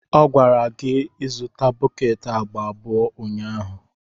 Ọ gwara gị izụta bọket agba abụọ ụnyaahụ.